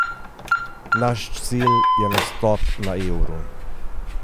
Naš cilj je nastop na euru.